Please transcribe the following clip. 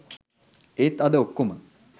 ඒත් අද ඔක්කොම